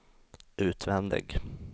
utvändig